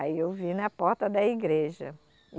Aí eu vi na porta da igreja.